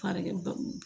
Farajɛw